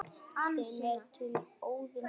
þeim er til Óðins koma